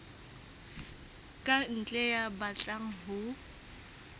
ka ntle ya batlang ho